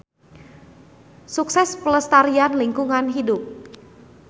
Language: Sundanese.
Sukses Pelestarian Lingkungan Hidup.